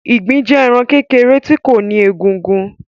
Ìgbín jẹ ẹran kékèrè tí kò ní egúngún.